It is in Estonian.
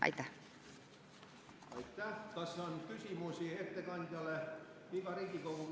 Aitäh!